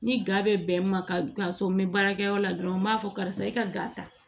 Ni ga bɛ bɛn ma ka sɔn n bɛ baarakɛyɔrɔ la dɔrɔn n b'a fɔ karisa i ka ga